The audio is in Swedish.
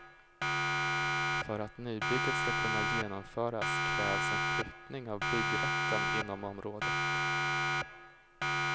För att nybygget ska kunna genomföras krävs en flyttning av byggrätten inom området.